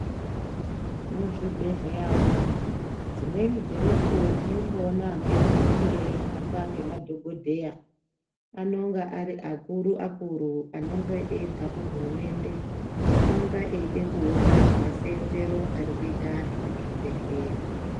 Muzvibhedhleya umu dzimweni dzemukuwo tinomboona amweni anenge eihamba ngemadhokodheya. Anonga ari akuru akuru anobva kuhurumende. Anonga achida kuona masenzere arikuita anhu muzvibhehleya.